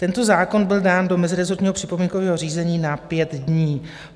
Tento zákon byl dán do mezirezortního připomínkového řízení na 5 dní.